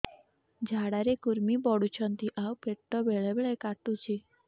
ଝାଡା ରେ କୁର୍ମି ପଡୁଛନ୍ତି ଆଉ ପେଟ ବେଳେ ବେଳେ କାଟୁଛି